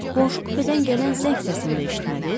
Qonşu kupedən gələn zəng səsini də eşitmədiniz?